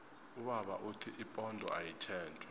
ubaba uthi ipondo ayitjentjwa